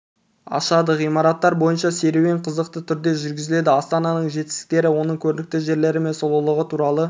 ашады ғимараттар бойынша серуен қызықты түрде жүргізіледі астананың жетістіктері оның көрікті жерлері мен сұлулығы туралы